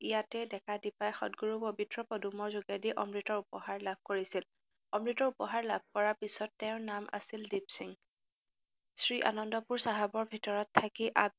ইয়াতে ডেকা দীপাই সতগুৰুৰ পৱিত্ৰ পদুমৰ যোগেদি অমৃতৰ উপহাৰ লাভ কৰিছিল, অমৃতৰ উপহাৰ লাভ কৰাৰ পিচত তেওঁৰ নাম আছিল দিপসিং। শ্ৰীআনন্দপুৰ চাহাবৰ ভিতৰত থাকি